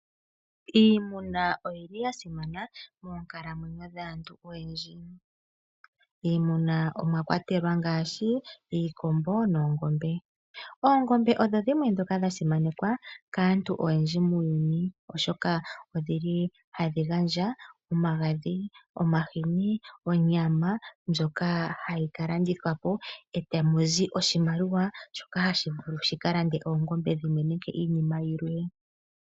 Iimuna oya simana monkalamwenyo dhaantu oyendji. Miimuna omwa kwatelwa ngaashi iikombo noongombe. Oongombe odho dhimwe ndhoka dha simanekwa kaantu oyendji muuyuni, oshoka ohadhi gandja omagadhi, omahini, onyama ndjoka hayi ka landithwa po e tamu zi oshimaliwa, shoka hashi vulu shika lande oongombe dhimwe nenge iinima yilwe.